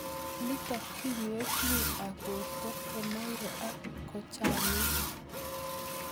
Nitok koyae tug'uk ab porto konerio ak kochang'it